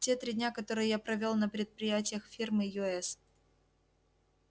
те три дня которые я провёл на предприятиях фирмы ю с